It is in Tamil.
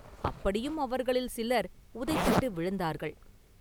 அப்படியும் அவர்களில் சிலர் உதைபட்டு விழுந்தார்கள்.